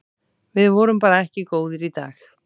Við vorum bara ekki góðir í dag.